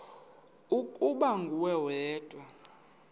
ukuba nguwe wedwa